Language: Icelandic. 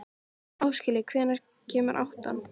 Áskell, hvenær kemur áttan?